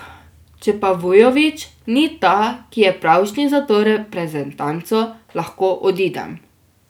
Če pa Vujović ni ta, ki je pravšnji za to reprezentanco, lahko odidem.